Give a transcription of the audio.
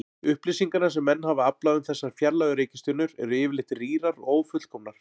Upplýsingarnar sem menn hafa aflað um þessar fjarlægu reikistjörnur eru yfirleitt rýrar og ófullkomnar.